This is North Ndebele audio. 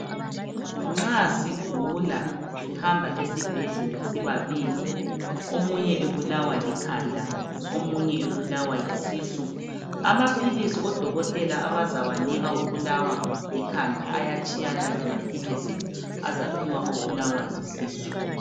Nxa sigula sihamba esibhedlela sibabili, omunye ebulawa likhanda, omunye ebulawa yisisu, amaphilisi odokotela abazawanika obulawa likhanda ayatshiyana lamaphilisi azaphiwa obulawa yisisu.